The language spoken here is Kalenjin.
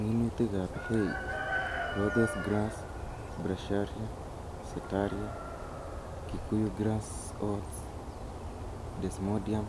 Minutikab hay:Rhodes grass, bracharia, setaria, Kikuyu grass oats , desmodium,